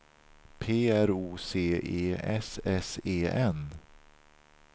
P R O C E S S E N